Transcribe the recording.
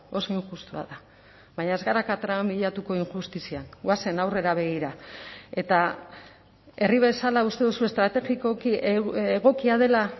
oso injustua da baina ez gara katramilatuko injustizian goazen aurrera begira eta herri bezala uste duzu estrategikoki egokia dela